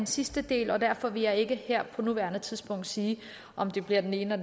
sidste del og derfor vil jeg ikke her på nuværende tidspunkt sige om det bliver det ene